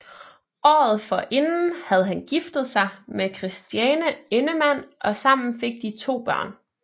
Året forinden havde han giftet sig med Christiane Endemann og sammen fik de to børn